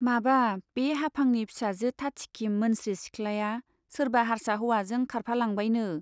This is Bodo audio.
माबा , बे हाफांनि फिसाजो थाथिखि मोनस्रि सिख्लाया सोरबा हार्सा हौवाजों खारफालांबायनो।